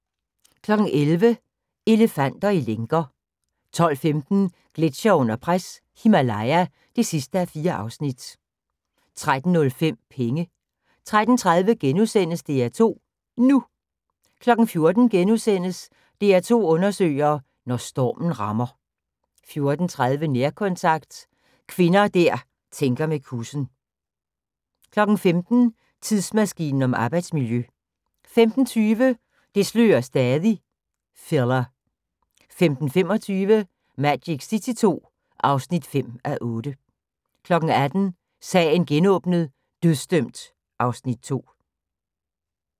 11:00: Elefanter i lænker 12:15: Gletsjere under pres – Himalaya (4:4) 13:05: Penge 13:30: DR2 NU * 14:00: DR2 undersøger: Når stormen rammer * 14:30: Nærkontakt – kvinder der tænker med kussen 15:00: Tidsmaskinen om arbejdsmiljø 15:20: Det slører stadig – filler 15:25: Magic City II (5:8) 18:00: Sagen genåbnet: Dødsdømt (Afs. 2)